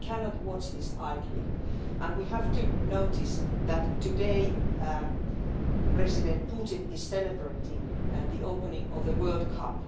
We cannot watch this idly, and we have to notice that today President Putin is celebrating the opening of the World Cup.